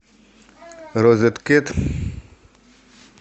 розет кет